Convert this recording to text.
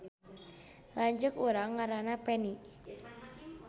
Lanceuk urang ngaranna Peni